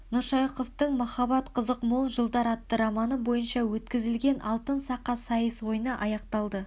нұршайықовтың махаббат қызық мол жылдар атты романы бойынша өткізілген алтын сақа сайыс ойыны аяқталды